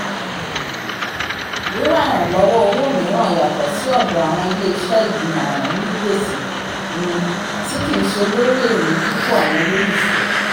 wíwá iranlọwọ owó míràn yatọ sí ọdọ awọn ilé-iṣẹ́ igbimọran ònì gbèsè um ti kii ṣe lórí èrè dipo awọn ololufẹ